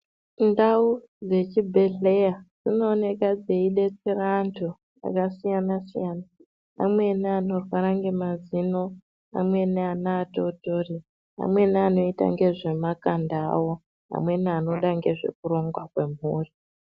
Ndau dzechibhedhleya dzinooneka dzeidetsera antu akasiyana -siyana amweni anorwara ngemazino amweni ana atori amweni anoita ngezvemakanda awo amweni anoda ngezvekurongwa kwemhuri.